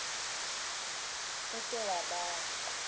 o se wa ba wa